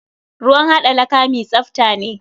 Ruwn haɗa laka mi tsafta ne.